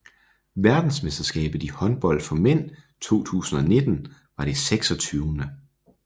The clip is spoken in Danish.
Verdensmesterskabet i håndbold for mænd 2019 var det 26